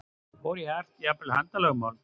Fór í hart, jafnvel handalögmál?